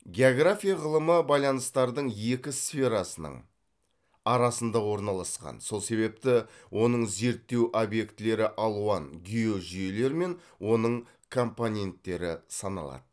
география ғылымы байланыстардың екі сферасының арасында орналасқан сол себепті оның зерттеу обьектілері алуан геожүйелер мен оның компоненттері саналады